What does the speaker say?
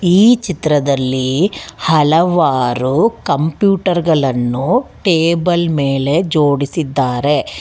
ಈ ಚಿತ್ರದಲ್ಲಿ ಹಲವಾರು ಕಂಪ್ಯೂಟರ್ ಗಲನ್ನು ಟೇಬಲ್ ಮೇಲೆ ಜೋಡಿಸಿದ್ದಾರೆ.